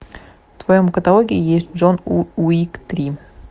в твоем каталоге есть джон уик три